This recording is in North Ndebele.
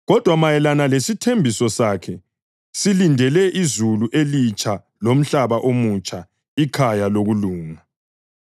Kodwa mayelana lesithembiso sakhe silindele izulu elitsha lomhlaba omutsha, ikhaya lokulunga.